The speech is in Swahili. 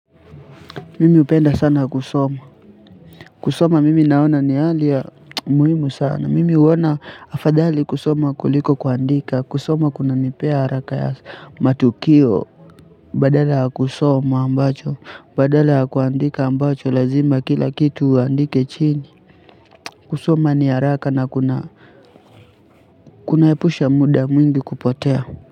Mimi hupenda sana kusoma, kusoma mimi naona ni hali ya muhimu sana, mimi huona afadhali kusoma kuliko kuandika, kusoma kunanipea haraka ya matukio, badala ya kusoma ambacho, badala ya kuandika ambacho lazima kila kitu uandike chini, kusoma ni haraka na kuna, kunaepusha muda mwingi kupotea.